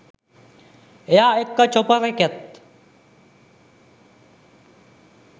එයා එක්ක චොපර් එකෙත්